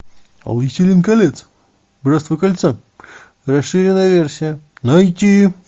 властелин колец братство кольца расширенная версия найти